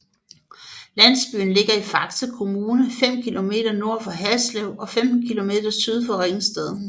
Landsbyen ligger i Faxe Kommune 5 kilometer nord for Haslev og 15 kilometer syd for Ringsted